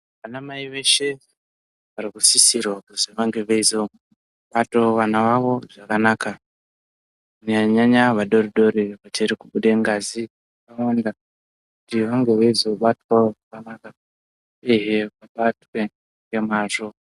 Ana mai veshe varikusisirwa kuzi vange veizobatawo vana vawo zvakanaka kunyanya nyanya vadori dori vachiri kubude ngazi yakawanda ti vange veizobatwawo zvakanaka uyehe vabatwe ngemazvo.